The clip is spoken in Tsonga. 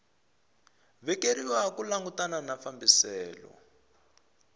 vekeriwa ku langutana na fambiselo